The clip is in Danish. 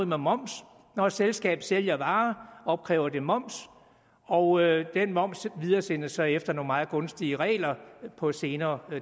med moms når et selskab sælger varer opkræver det moms og den moms videresendes så efter nogle meget gunstige regler på et senere